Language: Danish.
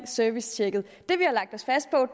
servicetjekket